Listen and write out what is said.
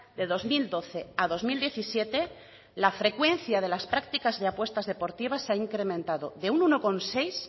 de dos mil doce a dos mil diecisiete la frecuencia de las prácticas de apuestas deportivas se ha incrementado de un uno coma seis